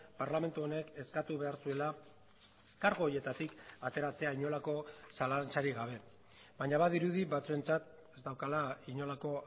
parlamentu honek eskatu behar zuela kargu horietatik ateratzea inolako zalantzarik gabe baina badirudi batzuentzat ez daukala inolako